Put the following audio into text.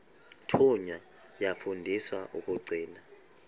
thunywa yafundiswa ukugcina